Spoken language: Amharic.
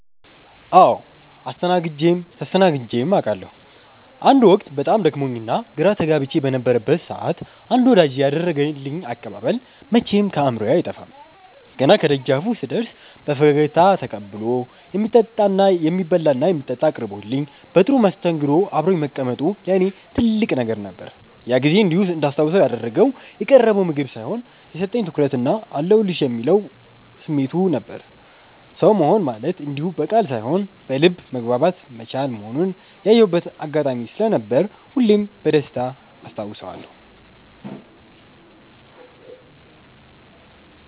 አዎ አስተናግጀም ተስተናግጀም አቃለሁ። አንድ ወቅት በጣም ደክሞኝና ግራ ተጋብቼ በነበረበት ሰዓት አንድ ወዳጄ ያደረገልኝ አቀባበል መቼም ከአእምሮዬ አይጠፋም። ገና ከደጃፉ ስደርስ በፈገግታ ተቀብሎ፣ የሚበላና የሚጠጣ አቅርቦልኝ በጥሩ መስተንግዶ አብሮኝ መቀመጡ ለእኔ ትልቅ ነገር ነበር። ያ ጊዜ እንዲህ እንዳስታውሰው ያደረገው የቀረበው ምግብ ሳይሆን፣ የሰጠኝ ትኩረትና "አለሁልሽ" የሚለው ስሜቱ ነበር። ሰው መሆን ማለት እንዲህ በቃል ሳይሆን በልብ መግባባት መቻል መሆኑን ያየሁበት አጋጣሚ ስለነበር ሁሌም በደስታ አስታውሰዋለሁ።